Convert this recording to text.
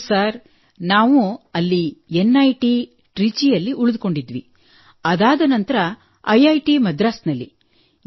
ಹೌದು ಸರ್ ನಾವು ಅಲ್ಲಿ ನಿಟ್ ಟ್ರಿಚಿಯಲ್ಲಿ ಉಳಿದುಕೊಂಡಿದ್ದೆವು ಅದಾದ ನಂತರ ಐಟ್ ಮದ್ರಾಸ್ ನಲ್ಲಿ